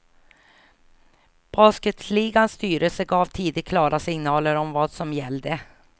Basketligans styrelse gav tidigt klara signaler om vad som gällde.